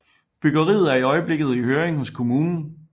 Byggeriet er i øjeblikket i høring hos kommunen